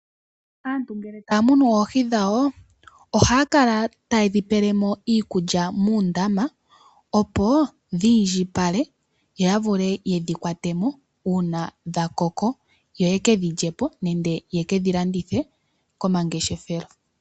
Naantu ngele taya munu oohi dhawo, ohaya kala taye dhipelemo iikulya muundama, opo dhi indjipale yo ya vule yedhi kwate mo uuna dha koko, yo yekedhi lyepo, nenge yeke dhi landithe komangeshefelo.